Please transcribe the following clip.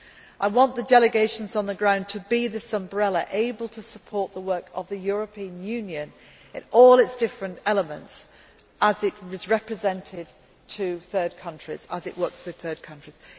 the institutions. I want the delegations on the ground to be an umbrella, able to support the work of the European Union in all its different elements, as it is represented to third countries, as it works with